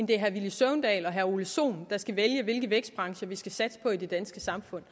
det er herre villy søvndal og herre ole sohn der skal vælge hvilke vækstbrancher vi skal satse på i det danske samfund